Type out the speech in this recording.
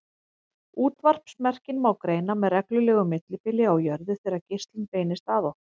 Útvarpsmerkin má greina með reglulegu millibili á jörðu þegar geislinn beinist að okkur.